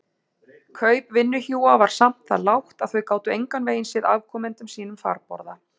Kaup vinnuhjúa var samt það lágt að þau gátu engan veginn séð afkomendum sínum farborða.